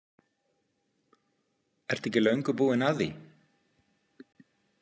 Ertu ekki löngu búin að því?